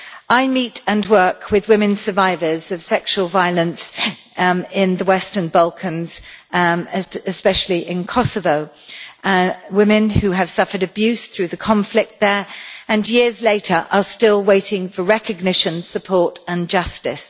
I meet and work with women survivors of sexual violence in the Western Balkans, especially in Kosovo women who have suffered abuse through the conflict there and who, years later, are still waiting for recognition, support and justice.